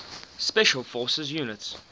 special forces units